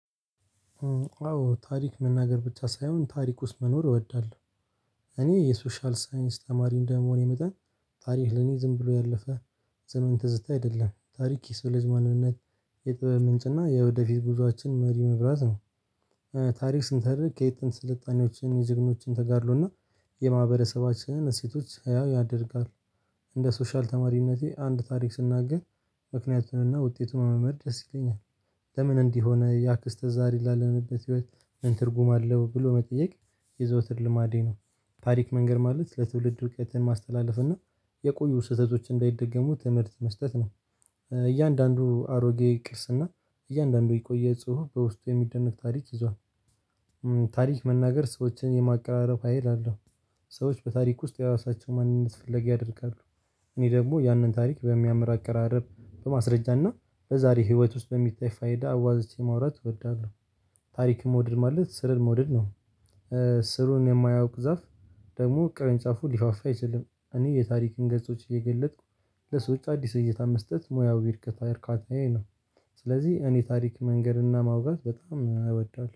አዎ ታሪክ መናገር ብቻ ሳይሆን ታሪክ ውስጥ መኖር እወዳለሁ። እኔ የሶሻል ሳይንስ ተማሪ እንደመሆኔ መጠን ታሪክ ለኔ ዝም ብሎ ያለፈ ዘመን ትዝታ አይደለም ታሪክ የሰው ልጅ ማንነት የጥበብ ምንጭ እና የወደፊት ጉዞአችን መሪ መብራት ነው። ታሪክ ስንተርክ ከየት ስልጣኔዎችን የጀግኖችን ተጋድሎና የማህበረሰባችን እሴቶች ህያው ያደርጋሉ። እንደ ሶሻል ተማሪነቴ አንድ ታሪክ ስናገኝ ምክንያቱንና ውጤቱን መልመድ ደስ ይለኛል። ለምን እንዲህ ሆነ ያ ክስተት ዛሬ ላለንበት ህይወት ምን ትርጉም አለው ብሎ መጠየቅ የዘውትር ልማዴ ነው። ታሪክ መንገር ማለት ለትውልድ እውቀትን ማስተላለፍ እና የቆዩ ስህተቶች እንዳይደገሙ ትምህርት መስጠት ነው። እያንዳንዱ አሮጌ ቅርስና እያንዳንዱ የቆየ ጽሁፍ በውስጡ የሚደነቅ ታሪክ ይዟል። ታሪክ መናገር ሰዎችን የማቀራረብ ሀይል አለው። ሰዎች በታሪክ ውስጥ የራሳቸው ማንነት ፍለጋ ያደርጋሉ። እኔ ደግሞ ያንን ታሪክ በሚያምር ቀራረብ በማስረጃና በዛሬ ህይወት ውስጥ በሚታይ ፋይዳ አዋዝቼ ማውራት ወዳለሁ። ታሪክ መውደድ ማለት ስርን መውደድ ነው። ስሩን የማያውቅ ዛፍ ደግሞ ቅርንጫፉ ሊፋፋ አይችልም። እኔ የታሪክን ገጾች እየገለጥኩ ለሰዎቹ አዲስ እይታ መስጠት ሙያው ቢርከታ እርካታዬ ነው። ስለዚህ እኔ ታሪክ መንገድና ማውጋት በጣም እወዳለሁ